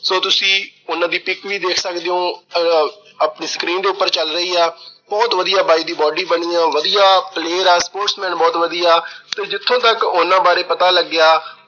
so ਤੁਸੀਂ ਉਹਨਾਂ ਦੀ pic ਵੀ ਦੇਖ ਸਕਦੇ ਓ, ਆਹ ਆਪਣੀ screen ਦੇ ਉਪਰ ਚਲ ਰਹੀ ਏ, ਬਹੁਤ ਵਧੀਆ ਬਾਈ ਦੀ body ਬਣੀ ਆ। ਵਧੀਆ player ਐ। sportman ਬਹੁਤ ਵਧੀਆ ਤੇ ਜਿੱਥੋਂ ਤੱਕ ਉਹਨਾਂ ਬਾਰੇ ਪਤਾ ਲੱਗਿਆ